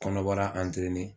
Kɔnɔbara